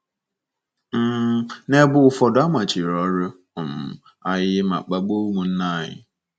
um N’ebe ụfọdụ, a machiri ọrụ um anyị ma kpagbuo ụmụnna anyị.